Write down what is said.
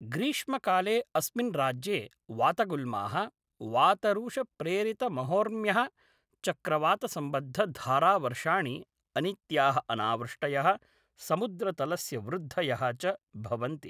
ग्रीष्मकाले अस्मिन् राज्ये, वातगुल्माः, वातरूषप्रेरितमहोर्म्यः, चक्रवातसम्बद्धधारावर्षाणि, अनित्याः अनावृष्टयः, समुद्रतलस्य वृद्धयः च भवन्ति।